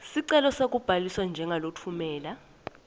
sicelo sekubhaliswa njengalotfumela